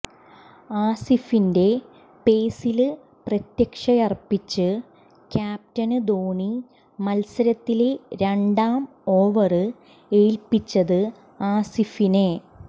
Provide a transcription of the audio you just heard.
ആസിഫിന്റെ പേസില് പ്രതീക്ഷയര്പ്പിച്ച് ക്യാപ്റ്റന് ധോനി മത്സരത്തിലെ രണ്ടാം ഓവര് ഏല്പിച്ചത് ആസിഫിനെ